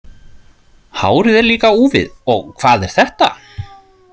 Hárið er líka úfið og hvað er þetta?